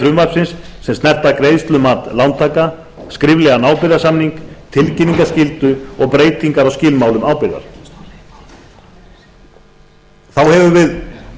frumvarpsins sem snerta greiðslumat lántaka skriflegan ábyrgðarsamning tilkynningaskyldu og breytingar á skilmálum ábyrgðar þá hefur við